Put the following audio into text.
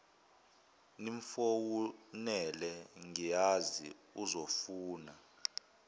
nimfowunele ngiyazi uzofuna